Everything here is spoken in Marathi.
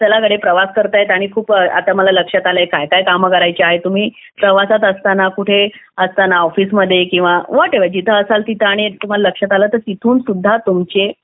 चला कडे प्रवास करतात आणि आता मला लक्षात आलंय काय काय काम करायची आहेत तुम्ही प्रवासात असताना कुठे असताना ऑफिसमध्ये किंवा वाटेवर जिथे वर जिथे असाल तिथे तुम्हाला लक्षात आलं तिथून सुद्धा तुम्ही तुमचे